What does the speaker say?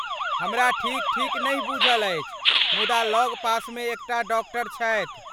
हमरा ठीक ठीक नहि बुझल अछि, मुदा लगपासमे एकटा डॉक्टर छथि।